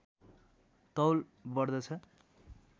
तौल बढ्दछ